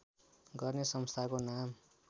गर्ने संस्थाको नाम